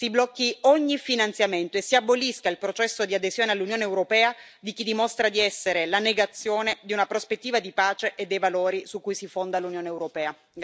Si blocchi ogni finanziamento e si abolisca il processo di adesione all'Unione europea di chi dimostra di essere la negazione di una prospettiva di pace e dei valori su cui si fonda l'Unione europea.